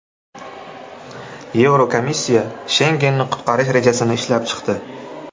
Yevrokomissiya Shengenni qutqarish rejasini ishlab chiqdi.